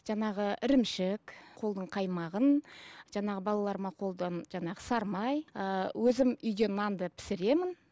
жаңағы ірімшік қолдың қаймағын жаңағы балаларыма қолдың жаңағы сары май ыыы өзім үйде нанды пісіремін